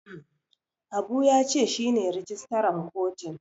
Habu ya ce shi ne rijistaran kotun.